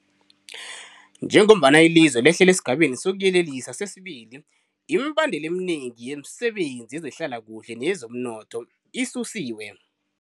Njengombana ilizwe lehlela esiGabeni sokuYelela sesi-2, imibandela eminengi yemisebenzi yezehlalakuhle neyezomnotho isusiwe.